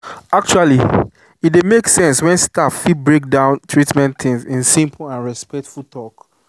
actually e dey make sense when staff fit break down treatment things in simple and respectful talk.